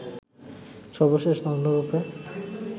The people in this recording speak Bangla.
সর্বশেষ নগ্নরুপে